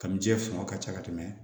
Kami ji fanga ka ca ka tɛmɛ